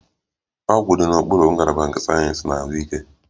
Ọgwụ dị n'okpuru ngalaba nke sayensị ahụike